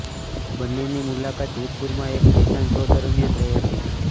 બંનેની મુલાકાત જોધપુરમાં એક ફેશન શો દરમ્યાન થઇ હતી